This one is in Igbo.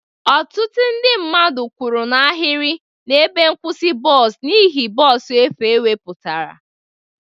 Ọtụtụ ndị mmadụ kwụrụ n'ahịrị na ebe nkwusi bọs n'ihe bọs efu e wepụtara.